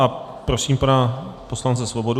A prosím pana poslance Svobodu.